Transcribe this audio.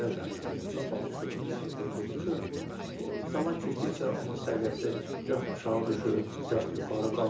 Xəzər dənizi qapalı su hövzəsi olduğu üçün o zaman keçdikcə onun səviyyəsi gah aşağı düşüb, gah yuxarı qalxır.